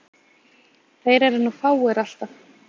Þeir eru nú fáir alltaf.